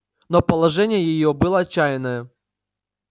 но положение её было отчаянное